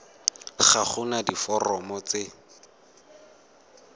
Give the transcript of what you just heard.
ga go na diforomo tse